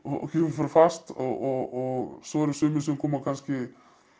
fast og svo eru sumir sem koma kannski